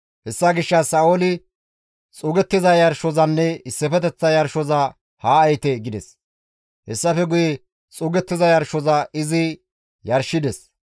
Hessa gishshas Sa7ooli, «Xuugettiza yarshozanne issifeteththa yarshoza haa ehite» gides; hessafe guye xuugettiza yarshoza izi yarshides.